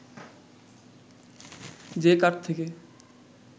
যে কাঠ থেকে